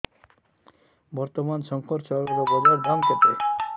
ବର୍ତ୍ତମାନ ଶଙ୍କର ଚାଉଳର ବଜାର ଦାମ୍ କେତେ